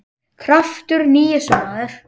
Krafturinn í þessu, maður!